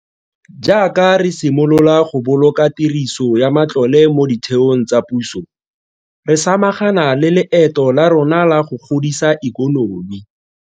Jaaka re simolola go boloka tiriso ya matlole mo ditheong tsa puso, re samagana le leeto la rona la go godisa ikonomi.